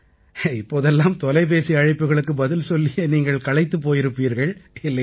இப்போதெல்லாம் தொலைபேசி அழைப்புகளுக்கு பதில் சொல்லியே நீங்கள் களைத்துப் போயிருப்பீர்கள் இல்லையா